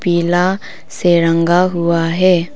पीला से रंगा हुआ है।